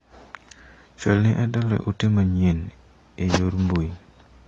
Chwal ne Adalla ote manyien e yor mbui.